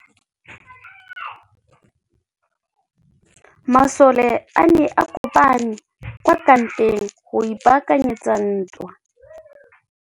Masole a ne a kopane kwa kampeng go ipaakanyetsa ntwa.